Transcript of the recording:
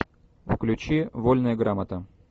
включи вольная грамота